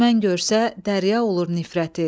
Düşmən görsə dərya olur nifrəti.